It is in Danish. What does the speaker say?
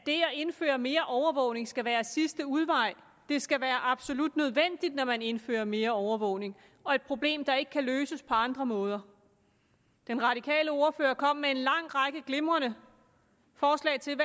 indføre mere overvågning skal være sidste udvej det skal være absolut nødvendigt når man indfører mere overvågning og være et problem der ikke kan løses på andre måder den radikale ordfører kom med en lang række glimrende forslag til